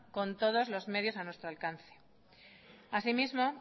con todos los medios a nuestro alcance así mismo